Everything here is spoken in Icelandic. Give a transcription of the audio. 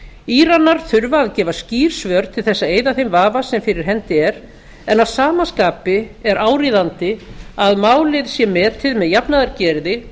íranar þurfa að gefa skýr svör til þess að eyða þeim vafa sem fyrir hendi er en að sama skapi er áríðandi að málið sé metið með jafnaðargeði